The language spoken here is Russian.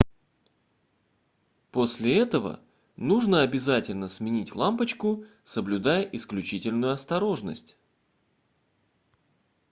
после этого нужно обязательно сменить лампочку соблюдая исключительную осторожность